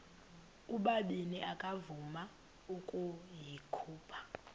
ubabini akavuma ukuyikhupha